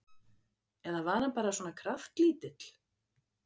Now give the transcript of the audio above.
Eða var hann bara svona kraftlítill?